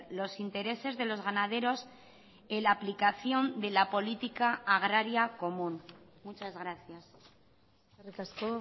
los intereses de los ganaderos en la aplicación de la política agraria común muchas gracias eskerrik asko